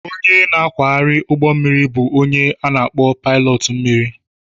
Onye na-akwagharị ụgbọ mmiri bụ onye a na akpo pilot mmiri